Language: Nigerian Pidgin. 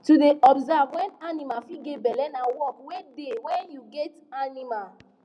to da observe when animal fit get belle na work wey da when you get animal